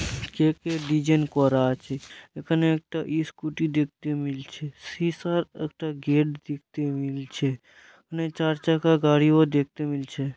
কেকের ডিজাইন করা আছে এখানে একটা ইস্কুটি -ও দেখতে মিলছে সেসার একটা গেট দেখতে মিলছে ওখানে চার চাকা গাড়ি ও দেখতে মিলছে।